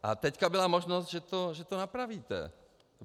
A teď byla možnost, že to napravíte.